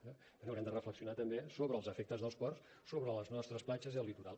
bé haurem de reflexionar també sobre els efectes dels ports sobre les nostres platges i el litoral